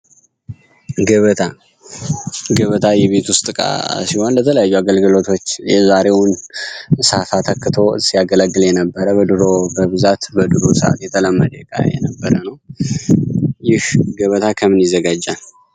ገበታ ገበታ የቤት ውስጥ እቃ ሲሆን የተለያዩ ያገለግል የነበረ የድሮ በብዛት በድሮ ሰአት የተለመደ ነው ይህ ገበታ ከምን ይዘጋጃል?